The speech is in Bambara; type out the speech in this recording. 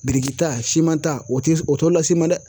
Birikita simanta o ti o t'o las'i ma dɛ